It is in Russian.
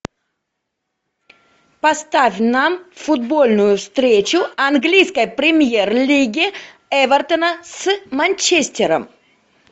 поставь нам футбольную встречу английской премьер лиги эвертона с манчестером